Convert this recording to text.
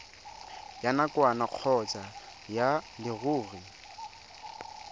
ya nakwana kgotsa ya leruri